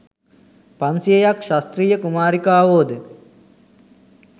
පන්සියයක් ක්‍ෂත්‍රිය කුමාරිකාවෝ ද